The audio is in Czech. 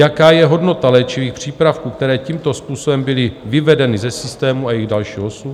Jaká je hodnota léčivých přípravků, které tímto způsobem byly vyvedeny ze systému a jejich další osud?